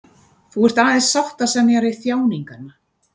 Þú ert aðeins sáttasemjari þjáninganna.